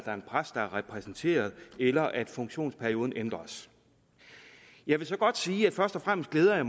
er en præst der er repræsenteret eller at funktionsperioden ændres jeg vil så godt sige at jeg først og fremmest glæder